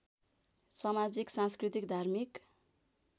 समाजिक सांस्कृतिक धार्मिक